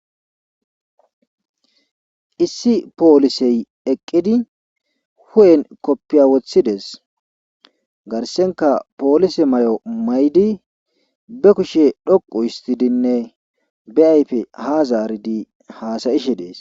Issi poolisey eqqidi hu'en koppiya woththides garsenka poolise may'o maydi be kushe dhoqu histidinne be ayfe ha zaaridi haasayishe dees.